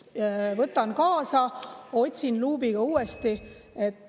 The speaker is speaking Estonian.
Võtan kaasa ja otsin luubiga uuesti.